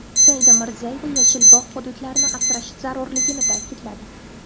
Saida Mirziyoyeva yashil bog‘ hududlarini asrash zarurligini ta’kidladi.